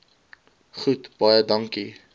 goed baie dankie